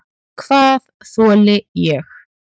Hvað þoli ég?